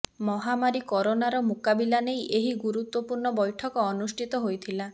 ମହାମାରୀ କରୋନାର ମୁକାବିଲା ନେଇ ଏହି ଗୁରୁତ୍ବପୂର୍ଣ୍ଣ ବୈଠକ ଅନୁଷ୍ଠିତ ହୋଇଥିଲା